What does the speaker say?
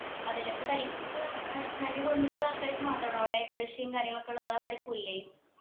അതെല്ലേ അപ്പൊ തനിക്ക് ഏർ തന്റെ കുടുംബത്തിലുള്ളവർക്കായിട്ട് മാത്രാണോ അവിടെ കൃഷിയും കാര്യങ്ങളൊക്കെ ഉള്ളെ വേറെ ആർക്കു ഇല്ലേ